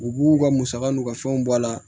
U b'u ka musaka n'u ka fɛnw bɔ a la